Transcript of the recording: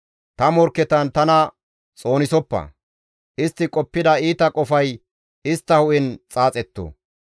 Ta morkketan tana xoonisoppa; istti qoppida iita qofay istta hu7en xaaxetto.